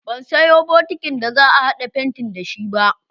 Ban sayo bokitin da za a haɗa fentin da shi ba.